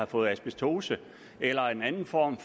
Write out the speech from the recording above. fået asbestose eller anden form